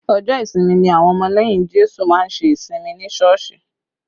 Ọjọ́ ìsinmi ni àwọn ọmọ lẹ́yìn Jésù má ń ṣe ìjọsìn ní Sọ́ọ̀sì